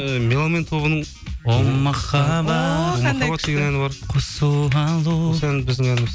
і меломен тобының о махаббат әні қосу алу осы ән біздің ән